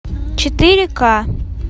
четыре ка